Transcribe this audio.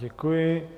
Děkuji.